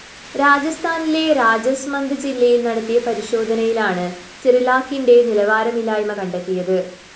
രാജസ്ഥാനിലെ രാജാസ്മന്ത് ജില്ലയില്‍ നടത്തിയ പരിശോധനയിലാണ് സെറിലാക്കിന്റെ നിലവാരമില്ലായ്മ കണ്ടെത്തിയത്